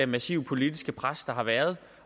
massive politiske pres der har været